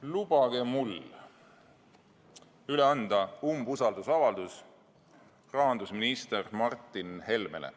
Lubage mul üle anda umbusaldusavaldus rahandusminister Martin Helmele.